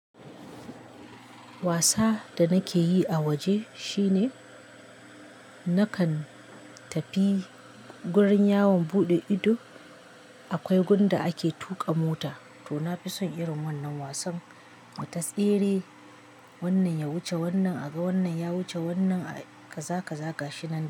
Wasa da nake yi a waje shine nakan tafi gurin yawon buɗe ido. Akwai gunda ake tuƙa mota to nafi son irin wannan wasan ta tsere wannan ya wuce wannan a ga wannan ya wuce wannan kaza kaza ga shi na.